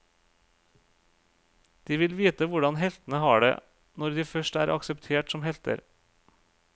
De vil vite hvordan heltene har det, når de først er akseptert som helter.